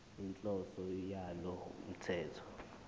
inhloso yalo mthetho